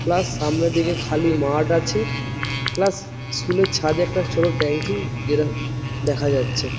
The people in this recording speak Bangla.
প্লাস সামনের দিকে খালি মাঠ আছে প্লাস স্কুল এর ছাদে একটা ছোট ট্যাংকি যেটা দেখা যাচ্ছে।